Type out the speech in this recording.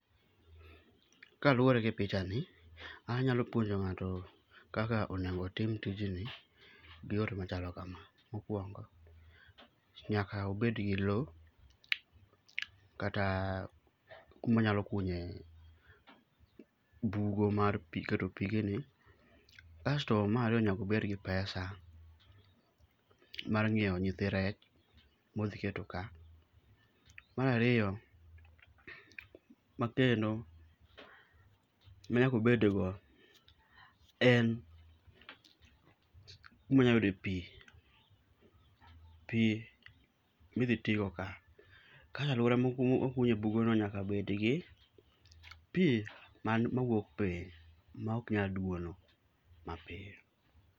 Kaluwore gi picha ni, an anyalo puonjo ng'ato kaka onego otim tij ni gi yore machalo kama. Mokuongo nyaka obed gi lowo kata kuma onyalo kunye bugo mar pi, kasto pigeni... Kas to mar ariyo nyaka obed gi pesa mar nyiewo nyithi rech modhi keto ka. Mar ariyo makendo ma nyaka obedgo, en kuma onyalo yude pi. Pi midhi tigo ka. Ka aluora mokunye bugono nyaka bedgi pi, mawuok piny maok nyal duono mapiyo.